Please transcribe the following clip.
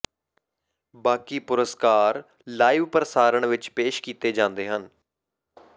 ਬਾਕੀ ਪੁਰਸਕਾਰ ਲਾਈਵ ਪ੍ਰਸਾਰਣ ਵਿਚ ਪੇਸ਼ ਕੀਤੇ ਜਾਂਦੇ ਹਨ